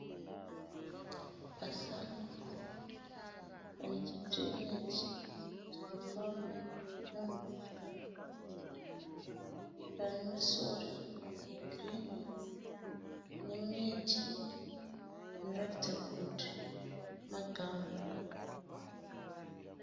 Pasango pane chidhireineji chinofamba nemvura. Pane masora egirinhi nemiti inoratidza kuti magamu.